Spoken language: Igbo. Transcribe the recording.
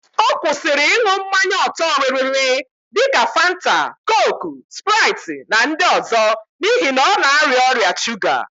Ọ kwụsịrị ịn̄ụ mmanya ọ̀tọ́rịrịrị dika Fanta, kooku, spraịt na ndị ọzọ n'ihi na ọ na-arịa ọrịa shuga